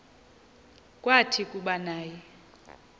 kwathi kuba naye